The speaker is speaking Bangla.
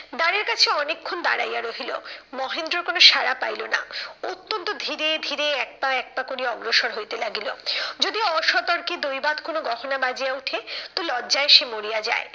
দ্বারের কাছে অনেকক্ষণ দাঁড়াইয়া রহিল। মহেন্দ্রর কোনো সারা পাইলো না। অত্যন্ত ধীরে ধীরে এক পা এক পা করিয়া অগ্রসর হইতে লাগিল। যদিও অসতর্কে দৈবাৎ কোনো গহনা বাজিয়া ওঠে, তো লজ্জায় সে মরিয়া যায়।